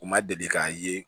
U ma deli k'a ye